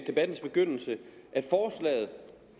debattens begyndelse at